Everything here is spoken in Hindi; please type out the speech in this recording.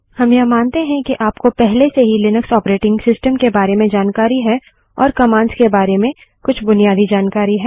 हम यह मानते हैं कि आपको पहले से ही लिनक्स ऑपरेटिंग सिस्टम के बारे में जानकारी है और कमांड्स के बारे में कुछ बुनियादी जानकारी है